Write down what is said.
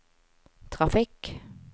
trafikk